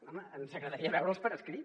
home ens agradaria veure’ls per escrit